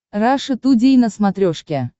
раша тудей на смотрешке